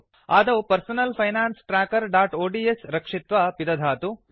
आदौ personal finance trackerओड्स् रक्षित्वा पिदधातु